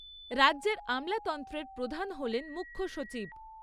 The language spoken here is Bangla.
রাজ্যের আমলাতন্ত্রের প্রধান হলেন মুখ্য সচিব।